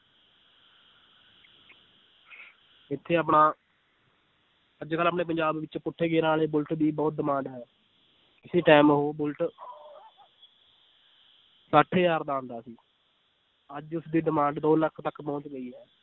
ਇੱਥੇ ਆਪਣਾ ਅੱਜ ਕੱਲ੍ਹ ਆਪਣੇ ਪੰਜਾਬ ਵਿੱਚ ਪੁੱਠੇ ਗੇਰਾਂ ਵਾਲੇ ਬੁਲਟ ਦੀ ਬਹੁਤ demand ਹੈ, ਕਿਸੇ time ਉਹ ਬੁਲਟ ਸੱਠ ਹਜ਼ਾਰ ਦਾ ਆਉਂਦਾ ਸੀ ਅੱਜ ਉਸਦੀ demand ਦੋ ਲੱਖ ਤੱਕ ਪਹੁੰਚ ਗਈ ਹੈ